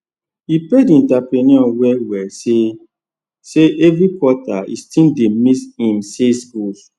e pain the entrepreneur well well say say every quarter e still dey miss him sales goal